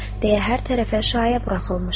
deyə hər tərəfə şayə buraxılmışdı.